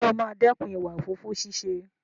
Ǹjẹ́ o máa dẹ́kun ìwà òfófó ṣíṣe?